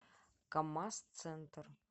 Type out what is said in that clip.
камаз центр